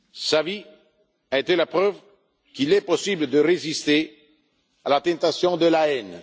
grand. Sa vie a été la preuve qu'il est possible de résister à la tentation de